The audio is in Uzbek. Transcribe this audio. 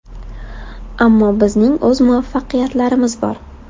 Ammo bizning o‘z muvaffaqiyatlarimiz bor.